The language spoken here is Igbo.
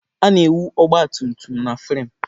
A na-ewu ọgba tum tum na framụ.